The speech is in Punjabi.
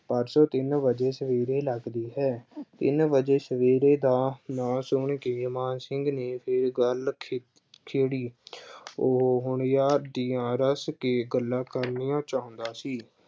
ਪਰਸੋਂ ਤਿੰਨ ਵਜੇ ਸਵੇਰੇ ਲੱਗਦੀ ਹੈ ਤਿੰਨ ਵਜੇ ਸਵੇਰੇ ਦਾ ਨਾਮ ਸੁਣ ਕਿ ਮਾਨ ਸਿੰਘ ਨੇ ਫਿਰ ਗੱਲ ਖੇ ਅਹ ਛੇੜੀ। ਉਹ ਹੁਣ ਯਾਰ ਦੀਆਂ ਰੱਜ ਕੇ ਗੱਲਾਂ ਕਰਨੀਆਂ ਚਾਹੁੰਦਾ ਸੀ।